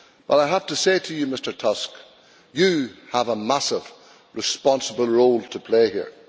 I have to say to you, Mr Tusk, that you have a massive responsible role to play here.